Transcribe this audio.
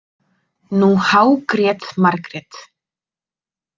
Nú hágrét Margrét.